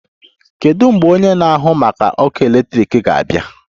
Kedu mgbe onye na-ahụ maka ọkụ eletrik ga-abịa?